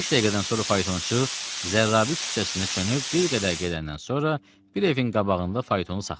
Beş dəqiqədən sonra faytonçu Zərrabı küçəsində çönüb bir qədər gedəndən sonra bir evin qabağında faytonu saxladı.